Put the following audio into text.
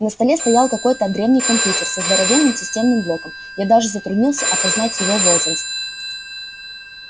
на столе стоял какой-то древний компьютер со здоровенным системным блоком я даже затруднился опознать его возраст